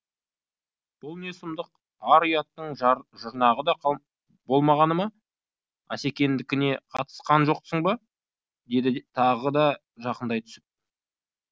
бұл не сұмдық ар ұяттың жұрнағы да болмағаны ма асекеңдікіне қатынасқан жоқсың ба деді тағы да жақындай түсіп